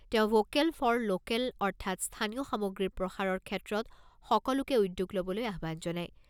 তেওঁ vocal for local অৰ্থাৎ‍স্থানীয় সামগ্ৰীৰ প্ৰসাৰৰ ক্ষেত্ৰত সকলোকে উদ্যোগ ল'বলৈ আহ্বান জনায়।